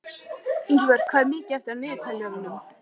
Ingibjört, hvað er mikið eftir af niðurteljaranum?